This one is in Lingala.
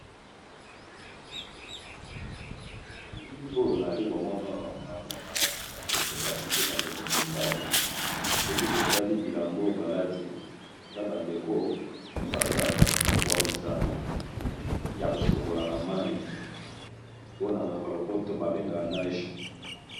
Na bilili oyo nayali komona awa naomona ba ndeko basi pe ba ndeko mibali soki totali bilamba balati eza ba ndeko oyo basalaka bomesano ya ko sokola na mayi oyo na monoka ya lopoto ba bengaka nage.